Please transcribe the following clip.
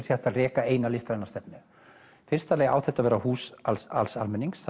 sé hægt að reka eina listræna stefnu í fyrsta lagi á þetta að vera hús alls alls almennings